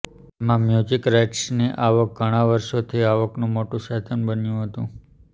એમાં મ્યુઝિક રાઈટ્સની આવક ઘણાં વર્ષોથી આવકનું મોટું સાધન બન્યું હતું